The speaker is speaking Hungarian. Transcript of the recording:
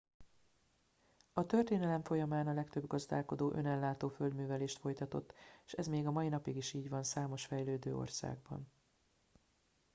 a történelem folyamán a legtöbb gazdálkodó önellátó földművelést folytatott s ez még a mai napig is így van számos fejlődő országban